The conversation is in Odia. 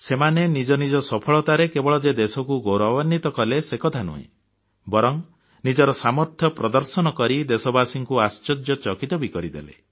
ସେମାନେ ନିଜ ନିଜ ସଫଳତାରେ କେବଳ ଯେ ଦେଶକୁ ଗୌରବାନ୍ବିତ କଲେ ସେକଥା ନୁହେଁ ବରଂ ନିଜର ସାମର୍ଥ୍ୟ ପ୍ରଦଶର୍ନ କରି ଦେଶବାସୀଙ୍କୁ ଆଶ୍ଚର୍ଯ୍ୟଚକିତ କରିଦେଲେ